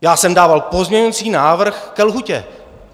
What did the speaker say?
Já jsem dával pozměňovací návrh ke lhůtě.